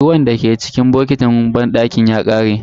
Ruwan dake cikin botikin banɗaki ya kare.